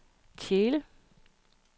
Tjele